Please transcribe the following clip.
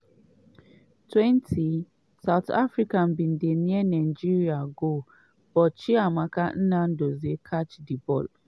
20' south africa bin near nigeria goal but chiamaka nnadozie catch di ball.